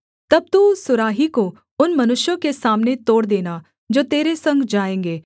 तब तू उस सुराही को उन मनुष्यों के सामने तोड़ देना जो तेरे संग जाएँगे